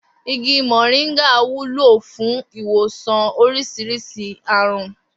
Igi mò̩ríńgà wúlò fún ìwòsàn orís̩irís̩i àrùn